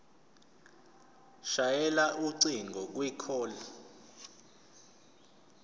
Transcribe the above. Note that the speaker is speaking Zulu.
shayela ucingo kwicall